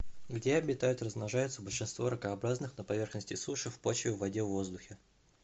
где обитают и размножаются большинство ракообразных на поверхности суши в почве в воде в воздухе